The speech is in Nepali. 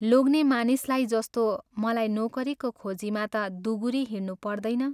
लोग्ने मानिसलाई जस्तो मलाई नोकरीको खोजीमा ता दुगुरी हिँड्नुपर्दैन।